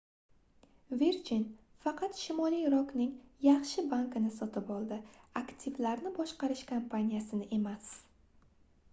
virgin faqat shimoliy rokning yaxshi banki"ni sotib oldi aktivlarni boshqarish kompaniyasini emas